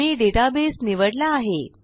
मी database निवडला आहे